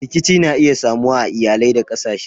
Rikici na iya samuwa a iyalai da kasashe.